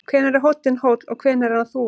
Hvenær er hóllinn hóll og hvenær er hann þúfa?